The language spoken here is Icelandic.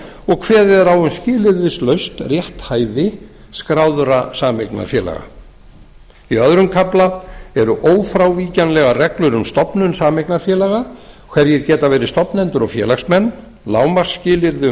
og kveðið er á um skilyrðislaust rétthæfi skráðra sameignarfélaga í öðrum kafla eru ófrávíkjanlegar reglur um stofnun sameignarfélaga hverjir geti verið stofnendur og félagsmenn lágmarksskilyrði um